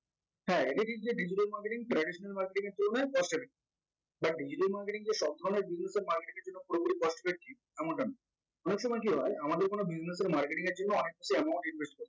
হ্যা এটা ঠিক যে digital marketing traditional marketing এর তুলনায় cost effective তা digital marketing যে সব ধরনের marketing এর জন্য পুরোপুরি cost effective এমনটা না অনেক সময় কি হয় আমাদের কোনো business এর marketing এর জন্য অনেককিছু amount invest